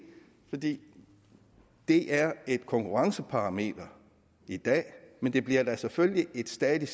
for det er et konkurrenceparameter i dag men det bliver da selvfølgelig et stadig